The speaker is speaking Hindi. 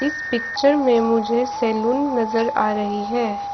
इस पिक्चर में मुझे सैलून नजर आ रही है।